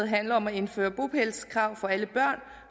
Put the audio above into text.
handler om at indføre bopælskrav for alle børn